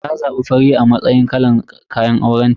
Ta zabi fari a matsayin kalan kayan aurenta.